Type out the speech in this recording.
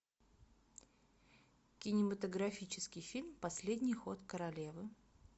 кинематографический фильм последний ход королевы